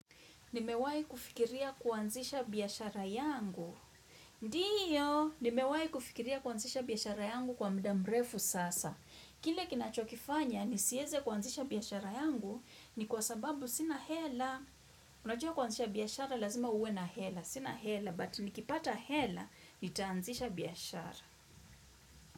Nimewahi kufikiria kuanzisha biashara yangu? Ndiyo, nimewahi kufikiria kuanzisha biashara yangu kwa mda mrefu sasa. Kile kinachokifanya, nisiweze kuanzisha biashara yangu ni kwa sababu sina hela. Unajua kuanzisha biashara, lazima uwe na hela. Sina hela, but nikipata hela, nitaanzisha biashara.